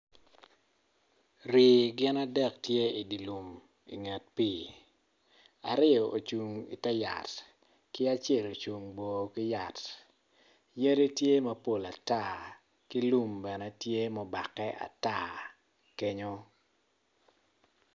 Rii gin adek tye idye lum inget pii aryo coung ite yat kiacelocung bor ki yat yadi tye mapol atar ki lum bene tye mubake ata kenyo